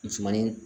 Musomanin